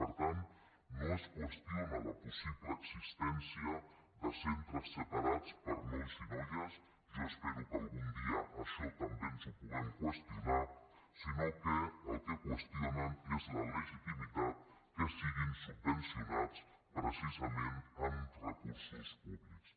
per tant no es qüestiona la possible existència de centres separats per a nois i noies jo espero que algun dia això també ens ho puguem qüestionar sinó que el que qüestionen és la legitimitat que siguin subvencionats precisament amb recursos públics